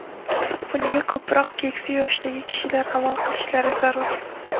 Bunga ko‘proq keksa yoshdagi kishilar amal qilishlari zarur.